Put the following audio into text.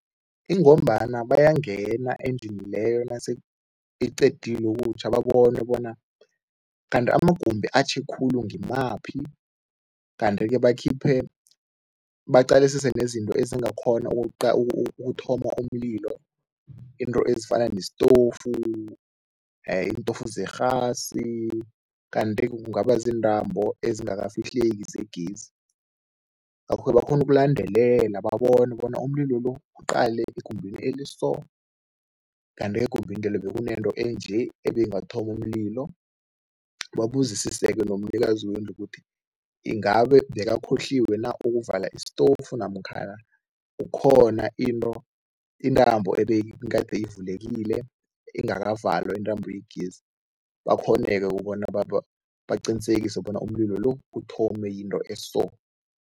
Ingombana bayangena endlini leyo nase iqedile ukutjha babone bona kanti amagumbi atjhe khulu ngimaphi. Kanti-ke bakhiphe, baqalisise nezinto ezingakghona ukuthoma umlilo, into ezifana nestofu iintofu zerhasi kanti kungaba ziintambo ezingakafihleki zegezi, ngakho-ke bakghona ukulandelela babone bona umlilo lo uqale egumbini eliso kanti-ke egumbini lelo bekunento enje, ebeyingathoma umlilo. Babuzisise-ke nomnikazi wendlu ukuthi ingabe bekakhohliwe na ukuvala iistofu namkhana kukhona into, intambo ebeyigade ivulekile ingakavalwa, intambo yegezi, bakghone-ke ukubona, baqinisekise bona umlilo lo uthome yinto eso.